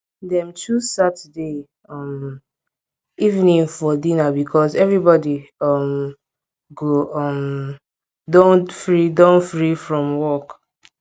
dem choose saturday um evening for dinner because everybodi um go um don free don free from work